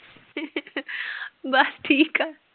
ਬੱਸ ਠੀਕ ਆ।